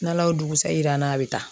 N'Ala y'o dugusɛ yir'an na a bi taa